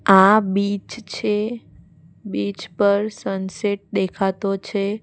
આ બીચ છે બીચ પર સનસેટ દેખાતો છે.